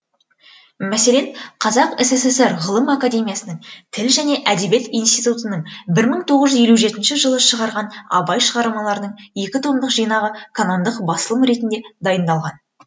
мәселен қазақ сср ғылым академиясының тіл және әдебиет институтының бір мың тоғыз жүз елу жетінші жылы шығарған абай шығармаларының екі томдық жинағы канондық басылым ретінде дайындалған